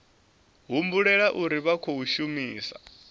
humbulela uri vha khou shumisa